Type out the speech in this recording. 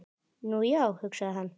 Nú, já, hugsaði hann.